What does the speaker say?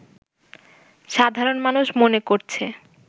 সাধারণ মানুষ মনে করছে